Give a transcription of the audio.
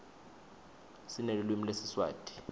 sinelulwimi lesiswati